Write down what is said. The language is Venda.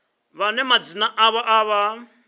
vhane madzina avho a vha